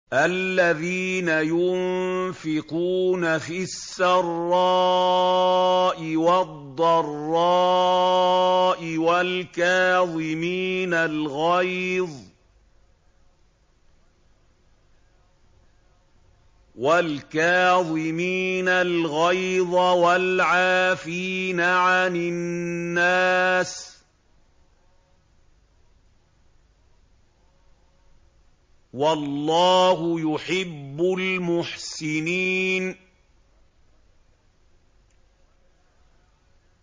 الَّذِينَ يُنفِقُونَ فِي السَّرَّاءِ وَالضَّرَّاءِ وَالْكَاظِمِينَ الْغَيْظَ وَالْعَافِينَ عَنِ النَّاسِ ۗ وَاللَّهُ يُحِبُّ الْمُحْسِنِينَ